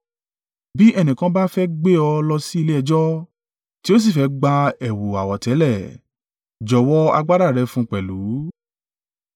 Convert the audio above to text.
Bí ẹnìkan bá fẹ́ gbé ọ lọ sílé ẹjọ́, tí ó sì fẹ́ gba ẹ̀wù àwọ̀tẹ́lẹ̀, jọ̀wọ́ agbádá rẹ fún un pẹ̀lú.